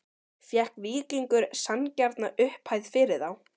Fékk Víkingur sanngjarna upphæð fyrir þá?